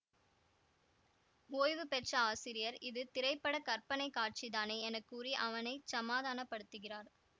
ஓய்வுபெற்ற ஆசிரியர் இது திரை பட கற்பனை காட்சிதானே என கூறி அவனை சமாதானப்படுத்துகிறார்